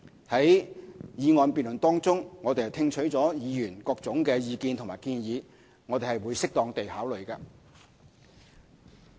在議案辯論中，我們聽取了議員的各種意見和建議，會適當地考慮。